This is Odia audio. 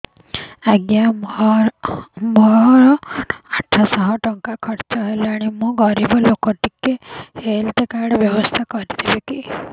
ଆଜ୍ଞା ମୋ ଆଠ ସହ ଟଙ୍କା ଖର୍ଚ୍ଚ ହେଲାଣି ମୁଁ ଗରିବ ଲୁକ ଟିକେ ହେଲ୍ଥ କାର୍ଡ ବ୍ୟବସ୍ଥା ହବ କି